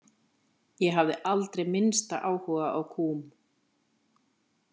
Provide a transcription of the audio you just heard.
Ég hafði aldrei minnsta áhuga á kúm.